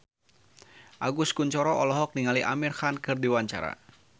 Agus Kuncoro olohok ningali Amir Khan keur diwawancara